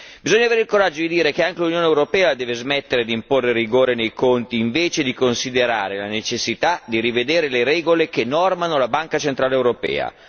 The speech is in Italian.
Bisogna avere il coraggio di dire che anche l'Unione europea deve smettere di imporre rigore nei conti, invece di considerare la necessità di rivedere le regole che disciplinano la Banca centrale europea.